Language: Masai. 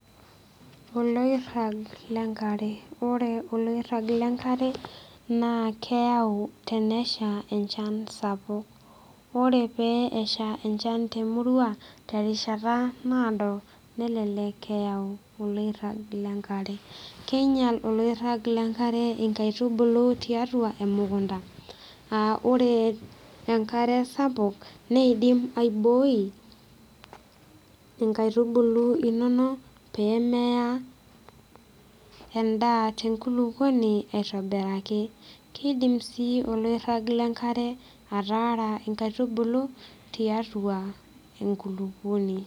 Oloirrag lenkare ore oloirrag lenkare naa keyau tenesha enchan sapuk ore pee esha enchan temurua terishata naado nelelek eyau oloirrag lenkare keinyial oloirrag lenkare inkaitubulu tiatua emukunta uh ore enkare sapuk neidim aiboi inkaitubulu inono pee meya endaa tenkulukuoni aitobiraki kidim sii oloirrag lenkare atara inkaitubulu tiatua enkulupuoni.